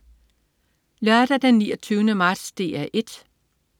Lørdag den 29. marts - DR 1: